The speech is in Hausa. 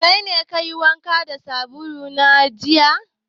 Kaine kayi wanka da sabulu na jiya?